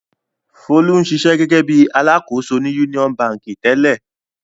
Folú ń ṣiṣẹ́ gẹ́gẹ́ bí i alákòóso ní Union Báńkì tẹ́lẹ̀.